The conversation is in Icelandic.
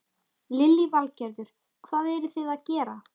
Lillý Valgerður: Hvað eruð þið að gera?